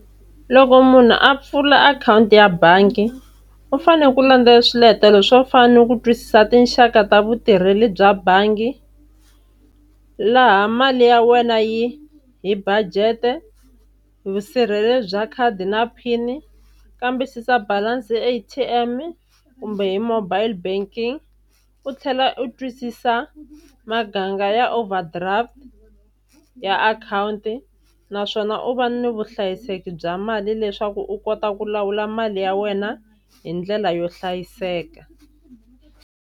Loko munhu a pfula akhawunti ya bangi u fanele ku landzelela swiletelo swo fana ni ku twisisa tinxaka ta vutirheli bya bangi, laha mali ya wena yi hi budget, vusirheleri bya khadi na pin, kambisisa balance A_T_M, kumbe hi mobile banking u tlhela u twisisa maganga ya overdraft ya akhawunti. Naswona u va ni vuhlayiseki bya mali leswaku u kota ku lawula mali ya wena hi ndlela yo hlayiseka.